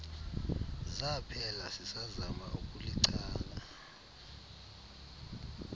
zaphela sisazama ukulichana